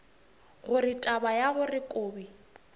gore taba ya gore kobi